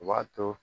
U b'a to